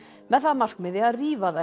með það að markmiði að